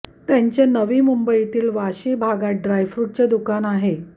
त्यांचे नवी मुंबईतील वाशी भागात ड्रायफ्रुटचे दुकान आहे